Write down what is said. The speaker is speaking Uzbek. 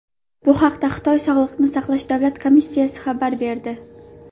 Bu haqda Xitoy sog‘liqni saqlash davlat komissiyasi xabar berdi .